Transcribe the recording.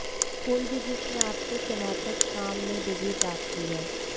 कोई भी जिसने आपके स्नातक काम में डिग्री प्राप्त की है